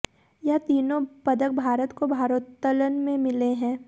यह तीनों पदक भारत को भारोत्तोलन में मिले हैं